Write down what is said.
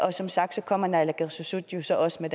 og som sagt kommer naalakkersuisut så også med